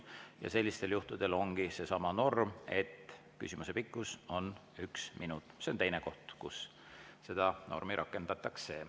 Ja sellistel juhtudel ongi seesama norm, et küsimuse pikkus on üks minut, see on teine koht, kus seda normi rakendatakse.